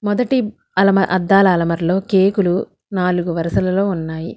మొదటి అలమ అద్దాల అలంమరలలో కేకులు నాలుగు వరసలలో ఉన్నాయి.